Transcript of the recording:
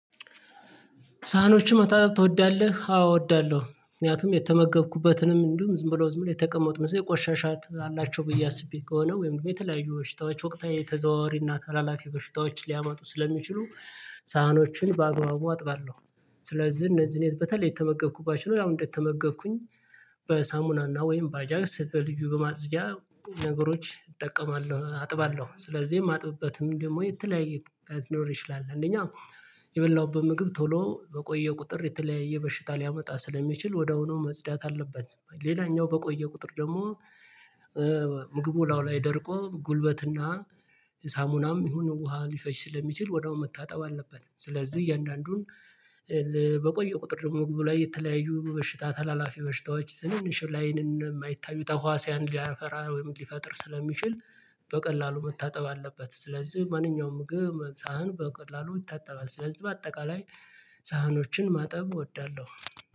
ሳህኖችህ መታጠብ ትወዳለህ? አዎ እወዳለሁ ምክንያቱም የተመገብኩበትንም እንዲሁ ዝም ብሎ ዝም ብሎ የተቀመጡ ምሳሌ ቆሻሻ አላቸው ብዬ አስቤ ከሆነ ወይም የተለያዩ በሽታዎች ወቅታዊ ተዘዋዋሪና ታላላፊ በሽታዎች ሊያመጡ ስለሚችሉ ሳህኖችን በአግባቡ አጥባለሁ። ስለዚህ እነዚህን በተለይ የተመገብኩባቸው አሁን እንደተመገብኩኝ በሳሙናና ወይም ባጃክስ በልዩ በማጽጃ ነገሮች እጠቀማለሁ አጥባለሁ። ስለዚህ የማጥብበትም ደግሞ የተለያየ አይኖር ይችላል። አንደኛ የበላሁበት ምግብ ቶሎ በቆየው ቁጥር የተለያየ በሽታ ሊያመጣ ስለሚችል ወዳዉኑ መጽዳት አለበት። ሌላኛው በቆየው ቁጥር ደግሞ ምግቡ እላዩ ላይ ደርቆ ጉልበትና ሳሙናም ይሁን ውሃ ሊፈጅ ስለሚችል ወደው መታጠብ አለበት። ስለዚህ እያንዳንዱን በቆየው ቁጥር ደግሞ ግብ ላይ የተለያዩ በሽታ ተላላፊ በሽታዎች ትንንሽ ላይንም የማይታዩ ተህዋሲያን ሊያፈራ ወይም ሊፈጥር ስለሚችል በቀላሉ መታጠብ አለበት። ስለዚህ ማንኛውም ምግብ ሳህን በቀላሉ ይታጠባል ስለዚህ በአጠቃላይ ሳህኖችን ማጠብ እወዳለሁ።